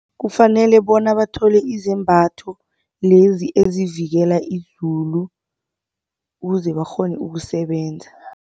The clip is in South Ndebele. Kufanele bona bathole izembatho lezi ezivikela izulu ukuze bakghone ukusebenza.